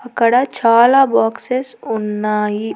అక్కడ చాలా బాక్స్సెస్ ఉన్నాయి.